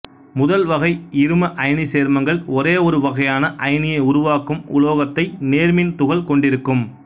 முதல் வகை இரும அயனிச் சேர்மங்கள் ஒரே ஒரு வகையான அயனியை உருவாக்கும் உலோகத்தைக் நேர்மின் துகள் கொண்டிருக்கும்